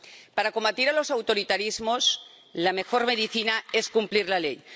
Para combatir los autoritarismos, la mejor medicina es cumplir la ley.